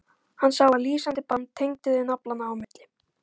Hann sá að lýsandi band tengdi þau naflanna á milli.